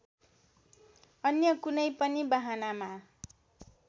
अन्य कुनै पनि बहानामा